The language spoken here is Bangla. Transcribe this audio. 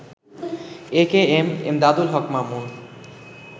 একেএম এমদাদুল হক মামুন